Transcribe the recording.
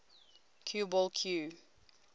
cue ball cue